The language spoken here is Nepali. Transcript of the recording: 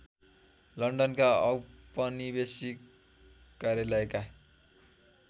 लन्डनका औपनिवेशिक कार्यालयका